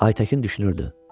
Aytəkin düşünürdü.